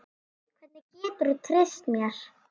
Hvernig geturðu treyst mér?